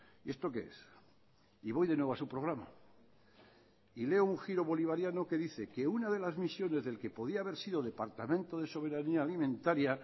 y esto qué es y voy de nuevo a su programa y leo un giro bolivariano que dice que una de las misiones del que podía haber sido departamento de soberanía alimentaria